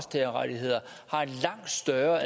er